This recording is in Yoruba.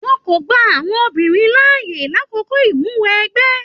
Wọn kò gbà àwọn obìnrin láàyè l'akoko imuwọ̀ ẹgbẹ.